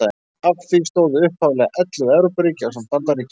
Að því stóðu upphaflega ellefu Evrópuríki ásamt Bandaríkjunum.